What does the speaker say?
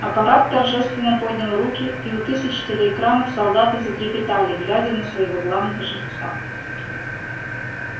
аппарат торжественно поднял руки и у тысяч телеэкранов солдаты затрепетали глядя на своего главного жреца